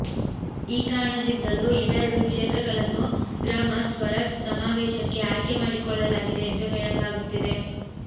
ಈ ಕಾರಣದಿಂದಲೂ ಇವೆರಡು ಕ್ಷೇತ್ರಗಳನ್ನು ಗ್ರಾಮ ಸ್ವರಾಜ್ ಸಮಾವೇಶಕ್ಕೆ ಆಯ್ಕೆ ಮಾಡಿಕೊಳ್ಳಲಾಗಿದೆ ಎಂದು ಹೇಳಲಾಗುತ್ತಿದೆ